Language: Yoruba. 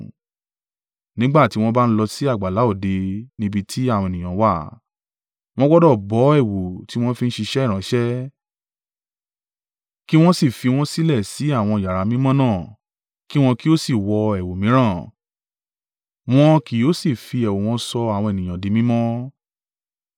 Nígbà tí wọ́n bá lọ sì àgbàlá òde níbi tí àwọn ènìyàn wà, wọn gbọdọ̀ bọ́ ẹ̀wù tí wọ́n fi ń ṣiṣẹ́ ìránṣẹ́, ki wọn sì fi wọn sílẹ̀ sí àwọn yàrá mímọ́ náà, kí wọn kí ó sì wọ ẹ̀wù mìíràn, wọn kì yóò sì fi ẹ̀wù wọn sọ àwọn ènìyàn di mímọ́.